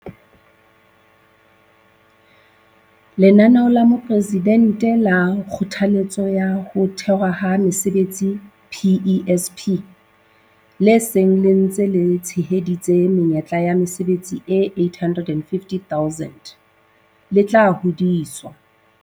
Lenaneo la Mopresidente la Kgothaletso ya Ho Thewa ha Mesebetsi, PESP, le seng le ntse le tsheheditse menyetla ya mesebetsi e 850 000, le tla hodiswa.